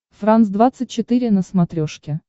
франс двадцать четыре на смотрешке